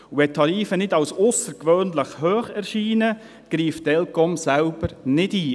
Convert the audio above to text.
Wenn die Tarife nicht als aussergewöhnlich hoch erscheinen, greift die ElCom selbst nicht ein.